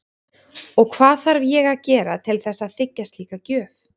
Og hvað þarf ég að gera til þess að þiggja slíka gjöf?